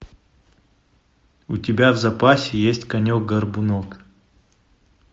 у тебя в запасе есть конек горбунок